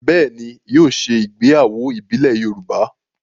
Bẹ́ẹ̀ ni, yóò ṣe ìgbéyàwó ìbílẹ̀ Yorùbá.